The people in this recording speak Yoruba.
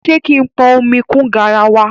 Ṣé kí n pọn omi kún garawa?